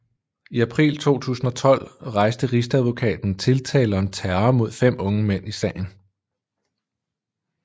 I april 2012 rejste rigsadvokaten tiltale om terror mod fem unge mænd i sagen